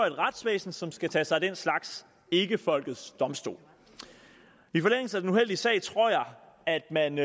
et retsvæsen som skal tage sig af den slags ikke folkets domstol i forlængelse af den uheldige sag tror jeg at man